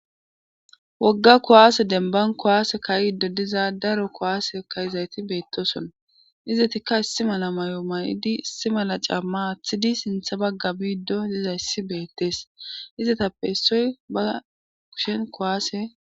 wogga kuwaase demban kuwaase kayiddo diza daro kuwaase ka'izayti beettoson izetikka issi mala mayo mayidi issi mala camma athidi sintha bagga biiddo diza yssi beettees izetappe issoy ba kushen kuwaase